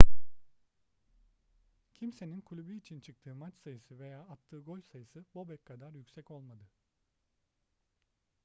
kimsenin kulübü için çıktığı maç sayısı veya attığı gol sayısı bobek kadar yüksek olmadı